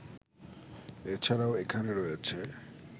এ ছাড়াও এখানে রয়েছে